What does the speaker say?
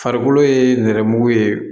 Farikolo ye nɛrɛmugu ye